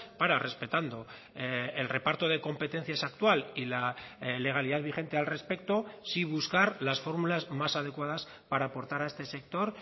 para respetando el reparto de competencias actual y la legalidad vigente al respecto sí buscar las fórmulas más adecuadas para aportar a este sector